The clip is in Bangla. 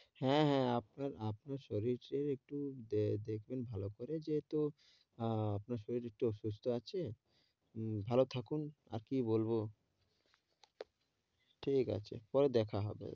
হ্যাঁ হ্যাঁ। আপনার আপনার শরীরের একটু দে~ দেখবেন ভালো করে যেহেতু আহ আপনার শরীর একটু অসুস্থ আছে। উম ভালো থাকুন আর কী বলব। ঠিক আছে পরে দেখা হবে।